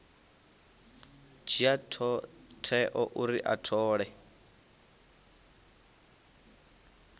dzhia tsheo uri a thole